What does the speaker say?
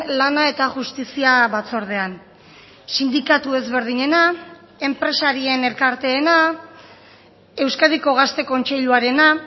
lana eta justizia batzordean sindikatu ezberdinena enpresarien elkarteena euskadiko gazte kontseiluarena